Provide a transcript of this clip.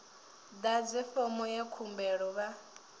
ḓadze fomo ya khumbelo vha